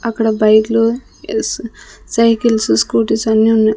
అక్కడ బైక్లు cycles scooties అన్ని ఉన్నాయ్.